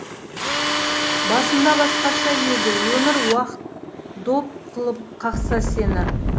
басында басқаша еді өмір уақыт доп қылып қақса сені